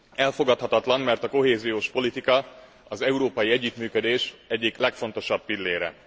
Elfogadhatatlan, mert a kohéziós politika az európai együttműködés egyik legfontosabb pillére.